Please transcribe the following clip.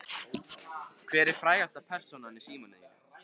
Hver er frægasta persónan í símanum þínum?